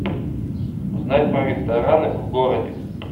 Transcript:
узнать про рестораны в городе